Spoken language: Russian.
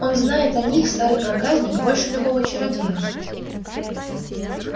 он знает о них старый проказник больше любого чародея